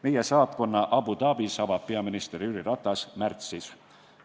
Meie saatkonna Abu Dhabis avab peaminister Jüri Ratas märtsis.